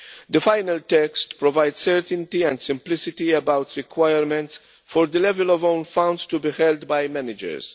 The final text provides certainty and simplicity about requirements for the level of own funds to be held by managers.